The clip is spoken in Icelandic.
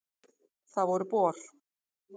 Það voru Bor.